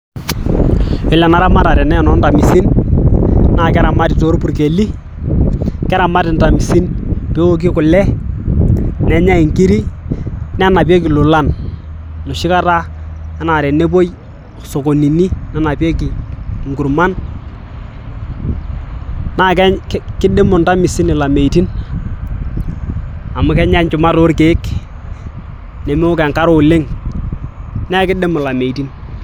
Ore enaramatare naa enoonkamisin naa keramati toorpukeli keramati inkamisin peoki kule nenyai inkiri nenapieki ilolan noshikata enaa tenepui sokoninini nenapieki inkurman naa kidimu inkamisin ilameitin amu kenya inchumat oorkiek nemeok enkare oleng neeku kidimu ilameitin.